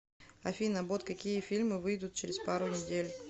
афина бот какие фильмы выидут через пару недель